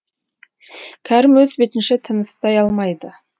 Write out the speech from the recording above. кәрім өз бетінше тыныстай алмайды